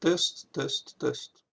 тест тест тест